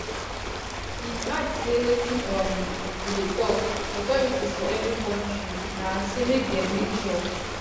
im add say wetin um we dey tok authorities for every kontri na say make dem make sure